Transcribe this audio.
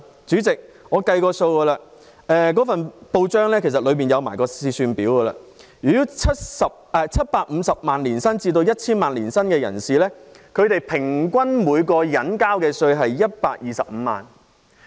主席，我按照上述文章附有的試算表計算過，年薪750萬元至 1,000 萬元的人士，平均每人交稅125萬元。